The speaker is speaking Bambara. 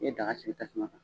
I bɛ daga sigi tasuma kan.